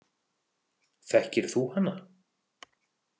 Þekkir þú hana?